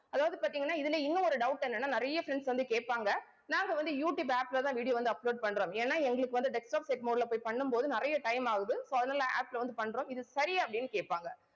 அதாவது பாத்தீங்கன்னா இதுல இன்னும், ஒரு doubt என்னன்னா நிறைய friends வந்து கேப்பாங்க. நாங்க வந்து, யூடியூயுப் app லதான் video வந்து upload பண்றோம். ஏன்னா, எங்களுக்கு வந்து desktop set mode ல போய், பண்ணும் போது, நிறைய time ஆகுது. so அதனால app ல வந்து பண்றோம் இது சரியா அப்படின்னு கேட்பாங்க